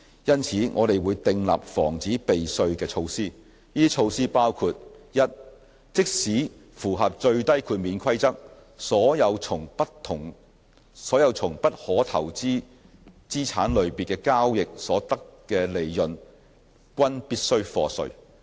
就此，我們會訂立防止避稅的措施。這些措施包括： a 即使符合最低豁免規則，所有從不可投資資產類別交易所得的利潤均必須課稅。